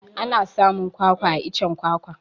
Ana samun kwakwa a iccen kwakwa